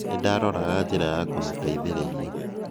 Nĩndaroraga njĩra ya kũmũtetheria